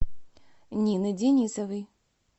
нины денисовой